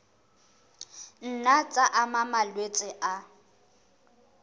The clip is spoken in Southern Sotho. nna tsa ama malwetse a